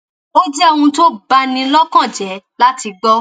ó jẹ ohun tó bá ní lọkàn jẹ láti gbọ